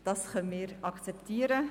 Das können wir akzeptieren.